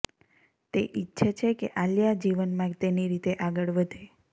તે ઈચ્છે છે કે આલિયા જીવનમાં તેની રીતે આગળ વધે